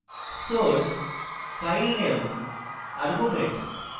source filename arguments